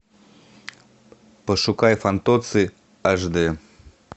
пошукай фантоцци аш дэ